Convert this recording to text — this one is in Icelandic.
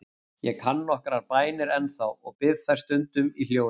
Ég kann nokkrar bænir ennþá og bið þær stundum í hljóði.